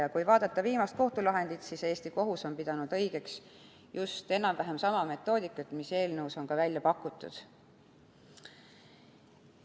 Ja kui vaadata viimast kohtulahendit, siis Eesti kohus on pidanud õigeks enam-vähem sama metoodikat, mis on eelnõus välja pakutud.